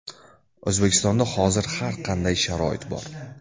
O‘zbekistonda hozir har qanday sharoit bor.